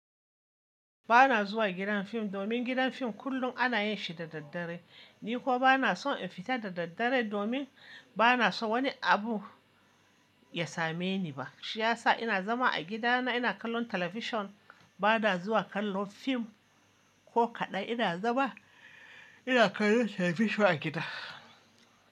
Ba na zuwa gidan fim domin gidan fim kullum ana yin shi da daddare. Ni kuwa ba na son in fita da daddare domin ba na so wani abu ya same ni ba. Shi ya sa ina zama a gidana ina kallon talabijin ba na zuwa kallon fim ko kaɗn ina zama ina kallon talabijin a gida.